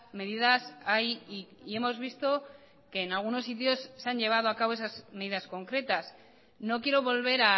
medidas hay y hemos visto que en algunos sitios se han llevado a cabo esas medidas concretas no quiero volver